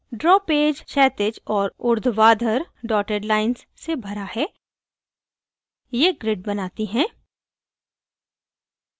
draw page क्षैतिज और ऊर्ध्वाधर dotted lines से भरा है ये grid बनाती हैं